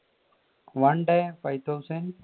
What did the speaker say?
one day five thousand